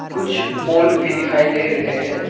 कुछ पोल भी दिखाई दे रहे हैं।